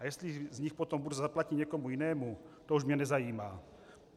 A jestli z nich potom burza zaplatí někomu jinému, to už mě nezajímá.